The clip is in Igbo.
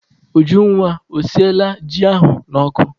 Ujunwa, o sinyela ji ahụ n'ọkụ?